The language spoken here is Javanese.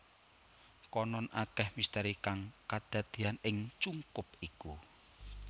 Konon akeh misteri kang kadadeyan ing cungkup iku